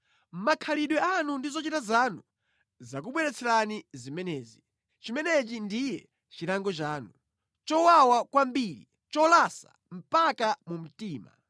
“Makhalidwe anu ndi zochita zanu zakubweretserani zimenezi. Chimenechi ndiye chilango chanu. Nʼchowawa kwambiri! Nʼcholasa mpaka mu mtima!”